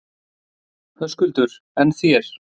Höskuldur: En þér?